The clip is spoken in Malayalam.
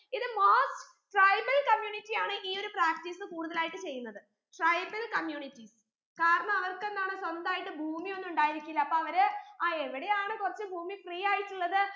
ഇത് most tribal community ആണ് ഈ ഒരു practice കൂടുതലായിട്ട് ചെയ്യുന്നത് tribal communities കാരണം അവർക്ക് എന്താണ് സ്വന്തായിട്ട് ഭൂമിയൊന്നു ഉണ്ടായിരിക്കില്ല അപ്പൊ അവര് അഹ് എവിടെയാണ് കുറച്ച് ഭൂമി free ആയിട്ടുള്ളത്